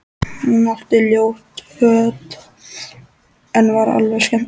Hún átti ljót föt en var alveg skemmtileg.